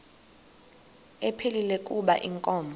ephilile kuba inkomo